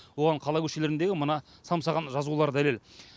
оған қала көшелеріндегі мына самсаған жазулар дәлел